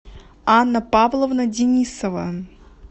анна павловна денисова